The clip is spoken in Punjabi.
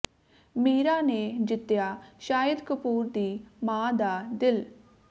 ਮੀਰਾ ਨੇ ਜਿੱਤਿਆ ਸ਼ਾਹਿਦ ਕਪੂਰ ਦੀ ਮਾਂ ਦਾ ਦਿਲ